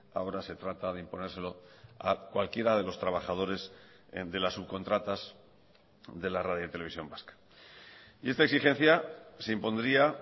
ahora se trata de imponérselo a cualquiera de los trabajadores de las subcontratas de la radio televisión vasca y esta exigencia se impondría